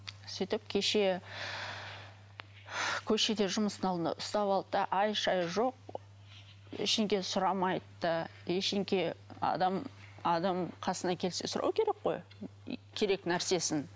сөйтіп кеше көшеде жұмыстың алдында ұстап алды да ай шай жоқ сұрамайды да адам адам қасына келсе сұрау керек қой керек нәрсесін